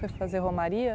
Foi fazer Romaria?